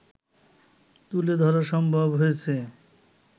তুলে ধরা সম্ভব হয়েছে